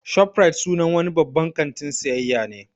'Shoprite" sunan wani babban kantin siayya ne